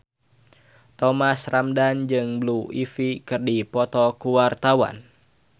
Thomas Ramdhan jeung Blue Ivy keur dipoto ku wartawan